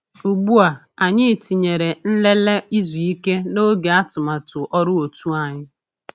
Ugbu a, anyị tinyere "nlele izu ike" n’oge atụmatụ ọrụ òtù anyị.